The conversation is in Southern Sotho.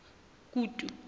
kutu